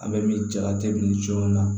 A bɛ min jalaki min co la